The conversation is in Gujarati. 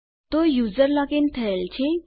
તો યુઝર લોગ ઇન થયેલ છે